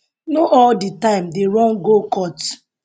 no all di time dey run go court